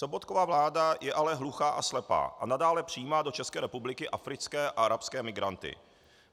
Sobotkova vláda je ale hluchá a slepá a nadále přijímá do České republiky africké a arabské migranty.